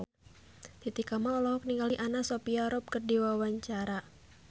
Titi Kamal olohok ningali Anna Sophia Robb keur diwawancara